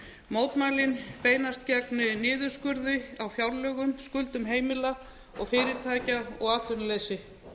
mótmælin beinast gegn niðurskurði á fjárlögum skuldum heimila og fyrirtækja og atvinnuleysi